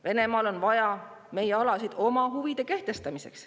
Venemaal on vaja meie alasid oma huvide kehtestamiseks.